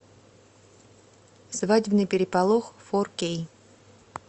свадебный переполох фор кей